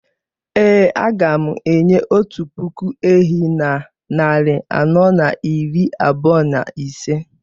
Ee, a ga m enye otu puku ehi na narị anọ na iri abụọ na ise